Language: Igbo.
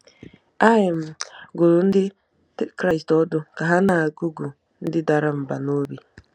A um dụrụ Ndị Kraịst ọdụ ka ha “na-agụgụ ndị dara mbà n’obi.”